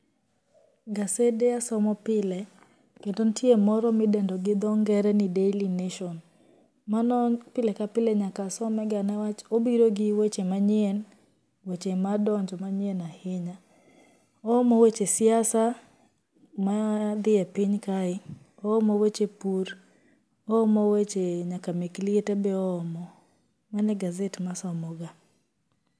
Gasede asomo pile, kendo nitie moro ma ideno gi dho ngere ni Daily nation, mano enpile ka pile nyaka asomega niwach obiro gi weche manyien, weche ma odonjo manyien ahinya, oomo weche siasa maa dhi e piny kae, oomo weche pur, oomo weche nyaka mek liete be oomo mano e gaset ma asomoga.